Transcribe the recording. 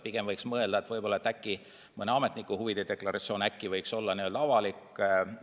Pigem võiks mõelda, et äkki mõne sealse ametniku huvide deklaratsioon võiks olla avalik.